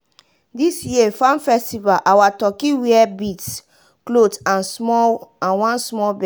this year farm festival our turkey wear beads cloth and one small bell.